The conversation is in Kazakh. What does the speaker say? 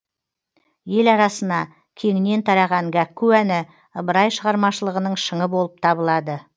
ел арасына кеңінен тараған гәкку әні ыбырай шығармашылығының шыңы болып табылады